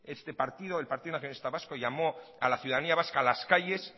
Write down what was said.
este partido el partido nacionalista vasco llamó a la ciudadanía vasca a las calles